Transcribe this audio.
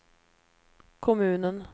kommunen